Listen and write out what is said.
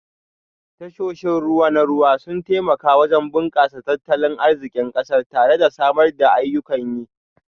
Tashoshin ruwa na ruwa sun taimaka wajen bunkasar tattalin arzikin kasar tare da samar da ayyukan yi